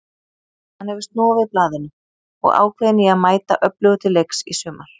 Hann hefur snúið við blaðinu og ákveðinn í að mæta öflugur til leiks í sumar.